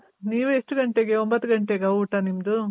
ನೀವು ಎಷ್ಟ್ ಗಂಟೆಗೆ ಒಂಬತ್ ಗಂಟೆಗಾ ಊಟ ನಿಮ್ದು?